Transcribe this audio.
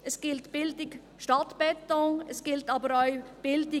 Es gilt Bildung statt Beton, es gilt aber auch: